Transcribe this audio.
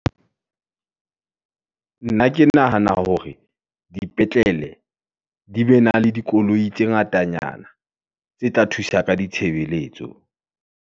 nna ke nahana hore dipetlele, di be na le dikoloi tse ngatanyana, tse tla thusa ka ditshebeletso.